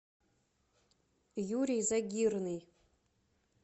юрий загирный